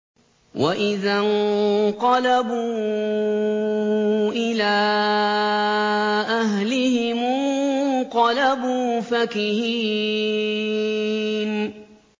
وَإِذَا انقَلَبُوا إِلَىٰ أَهْلِهِمُ انقَلَبُوا فَكِهِينَ